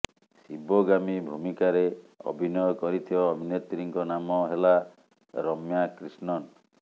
ଶିବଗାମୀ ଭୂମିକାରେ ଅଭିନୟ କରିଥିବା ଅଭିନେତ୍ରୀଙ୍କ ନାମ ହେଲା ରମ୍ୟା କ୍ରିଷ୍ଣନ